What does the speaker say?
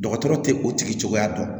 Dɔgɔtɔrɔ tɛ o tigi cogoya dɔn